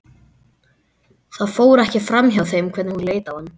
Það fór ekki framhjá þeim hvernig hún leit á hann.